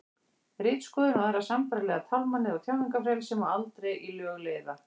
ritskoðun og aðrar sambærilegar tálmanir á tjáningarfrelsi má aldrei í lög leiða